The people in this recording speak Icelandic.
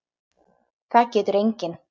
Það getur enginn.